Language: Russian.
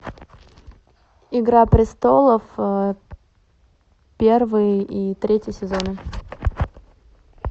игра престолов первый и третий сезоны